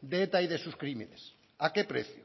de eta y de sus crímenes a qué precio